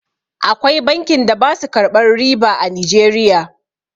Akwai bankin da basu karɓan riba a Nijeriya